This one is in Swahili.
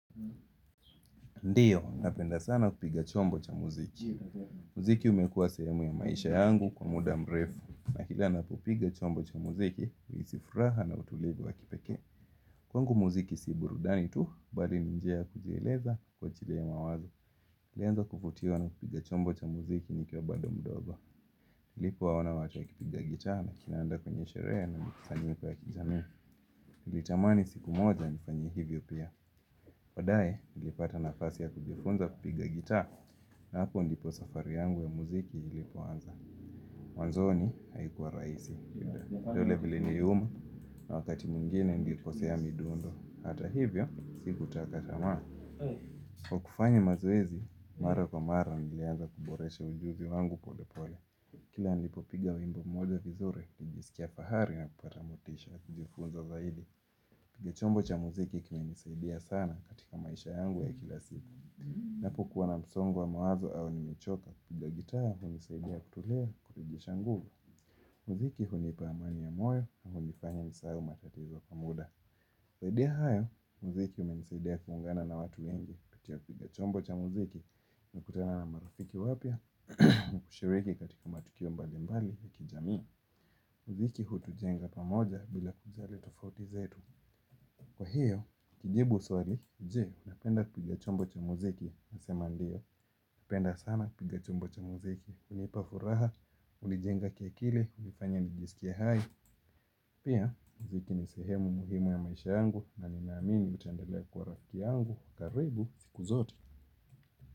Ndiyo, napenda sana kupiga chombo cha muziki. Mziki umekuwa sehemu ya maisha yangu kwa muda mrefu, lakini napopiga chombo cha muziki huhisi furaha na utulivu wa kipekee. Kwangu muziki si burudani tu, bali ni njia ya kujieleza kwa ajili ya mawazo nilianza kuvutiwa na kupiga chombo cha muziki nikiwa bado mdogo nilipowaona wacho wakipiga gitaa na kinanda kwenye sherehe na mikusanyiko wa kijamii. Nilitamani siku moja nifanye hivyo pia baadae, nilipata nafasi ya kujifunza kupiga gitaa. Na hapo ndipo safari yangu ya muziki ilipo anza. Mwanzoni haikuwa rahisi. Vidole viliniuma na wakati mwingine nilikosea midundo. Hata hivyo siku taka tamaa. Kwa kufanya mazoezi, mara kwa mara nilianza kuboresha ujuzi wangu polepole. Kila nilipo piga wimbo moja vizuri, nilijisikia fahari na kupata motisha. Kijifunza zaidi, kupiga chombo cha muziki kimenisaidia sana katika maisha yangu ya kila siku. Napo kuwa na msongo wa mawazo au nimechoka, kupiga gitaa, hunisaidia kutulia, kurejesha nguvu. Muziki hunipa amani ya moyo na hunifanya nisahau matatizo kwa muda. Zaidi ya hayo, muziki umenisaidia kuungana na watu wengi kupitia kupiga chombo cha muziki nakutana na marafiki wapya kushiriki katika matukio mbalimbali ya kijamii. Muziki hutujenga pamoja bila kujali tofauti zetu. Kwa hiyo, kujibu swali, je, napenda kupiga chombo cha muziki nasema ndiyo, napenda sana piga chumbo cha muziki. Hunipa furaha, hunijenga kia kili, hunifanya nijisikie hai. Pia, muziki ni sehemu muhimu ya maisha yangu na ninaamini itaendelea kuwa rafiki yangu karibu siku zote.